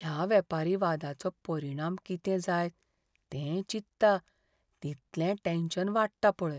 ह्या वेपारी वादाचो परिणाम कितें जायत तें चित्तां तितलें टॅन्शन वाडटा पळय.